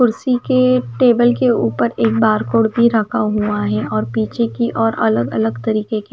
कुर्सी के टेबल के ऊपर एक बार कोड भी रखा हुआ है और पीछे की ओर अलग अलग तरीके के--